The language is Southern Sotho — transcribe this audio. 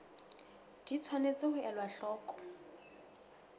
di tshwanetse ho elwa hloko